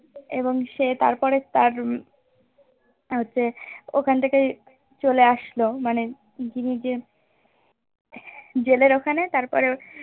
এবং সে তারপরে তার উম হচ্ছে ওখান থেকে চলে আসলো মানে জিম্মি যে jail এর ওখানে তারপরে